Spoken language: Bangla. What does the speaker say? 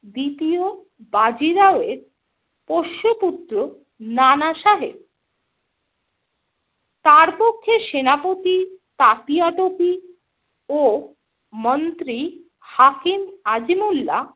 দ্বিতীয় বাজিরাও এর পোষ্যপুত্র নানাসাহেব। তার পক্ষে সেনাপতি তাতিয়া টোপি ও মন্ত্রী হাকিম আজিমুল্লা